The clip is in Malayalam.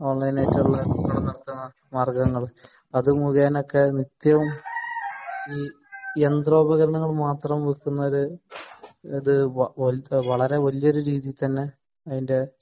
ഓൺലൈൻ ആയിട്ടുള്ള മാർഗ്ഗങ്ങൾ നിത്യവും ഈ യന്ത്രോപകരണങ്ങളും മാത്രം വിൽക്കുന്ന ഒരു വളരെ വലിയൊരു രീതിയിൽ തന്നെ അതിന്റെ